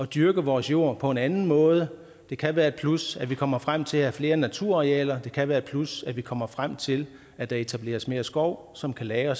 dyrke vores jord på en anden måde det kan være et plus at vi kommer frem til at have flere naturarealer det kan være et plus at vi kommer frem til at der etableres mere skov som kan lagre